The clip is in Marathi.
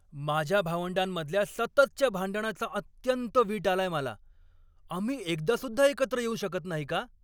माझ्या भावंडांमधल्या सततच्या भांडणाचा अत्यंत वीट आलाय मला. आम्ही एकदासुद्धा एकत्र येऊ शकत नाही का?